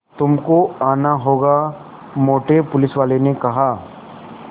तुमको आना होगा मोटे पुलिसवाले ने कहा